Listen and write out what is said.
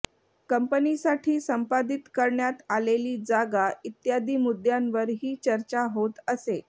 कंपनीसाठी संपादित करण्यात आलेली जागा इत्यादी मुद्यांवर ही चर्चा होत असे